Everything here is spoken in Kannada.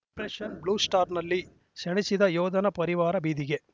ಆಪರೇಷನ್‌ ಬ್ಲೂಸ್ಟಾರ್‌ನಲ್ಲಿ ಸೆಣಸಿದ ಯೋಧನ ಪರಿವಾರ ಬೀದಿಗೆ